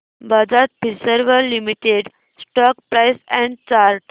Bajaj Finserv limited stock price and chart